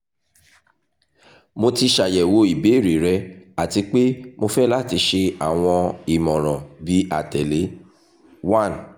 mo ti ṣayẹwo ibeere rẹ ati pe mo fẹ lati ṣe awọn imọran bi atẹle:1